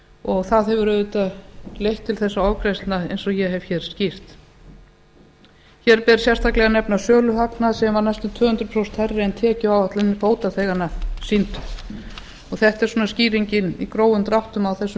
og það hefur auðvitað leitt til þessara ofgreiðslna eins og ég hef hér skýrt hér ber sérstaklega að nefna söluhagnað sem var næstum tvö hundruð prósent hærri en tekjuáætlanir bótaþeganna sýndu þetta er svona skýringin í grófum dráttum á þessum